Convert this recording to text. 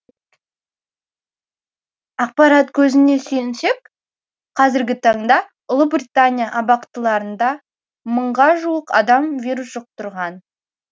ақпарат көзіне сүйенсек қазіргі таңда ұлыбриятания абақтыларында мыңға жуық адам вирус жұқтырған